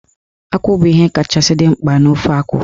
Akwụ bụ ihe kachasị dị mkpa n'ofe akwụ.